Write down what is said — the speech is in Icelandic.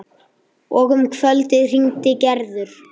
Og um kvöldið hringdi Gerður.